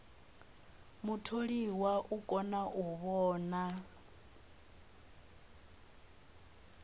mutholiwa u kona u vhona